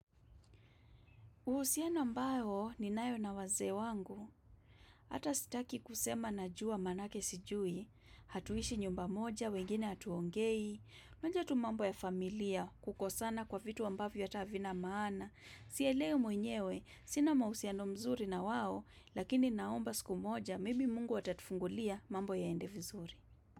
Uhusiana ambao ni nayo na wazee wangu, hata sitaki kusema najua maanake sijui, hatuishi nyumba moja, wengine hatuongei, unajua tu mambo ya familia, kukosana kwa vitu ambavyo hata havina maana. Sielewi mwenyewe, sina mausiano mzuri na wao, lakini naomba siku moja, maybe Mungu atatufungulia mambo yaende vizuri.